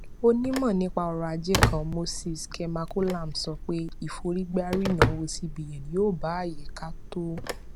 onímò nípa ọrọ ajé kan moses kemakolam sọ pé ìforígbárí ìnáwó cbn yóò ba àyíká tó